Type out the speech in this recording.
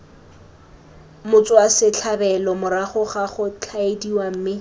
motswasetlhabelo morago ga gotshwaediwa mme